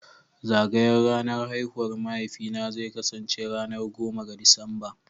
Zagayar ranar haihuwar mahaifina zai kasance ranar goma ga Disamba